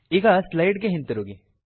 ಈಗ ಸ್ಲೈಡ್ ಗೆ ಹಿಂತಿರುಗಿ